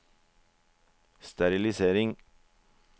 sterilisering